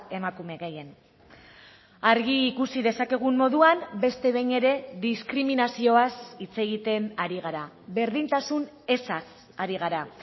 emakume gehien argi ikusi dezakegun moduan beste behin ere diskriminazioaz hitz egiten ari gara berdintasun ezaz ari gara